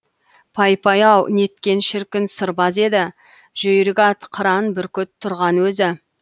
пай пай ау неткен шіркін сырбаз еді жүйрік ат қыран бүркіт тұрған өзі